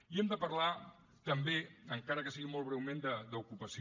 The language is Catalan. i hem de parlar també encara que sigui molt breument d’ocupació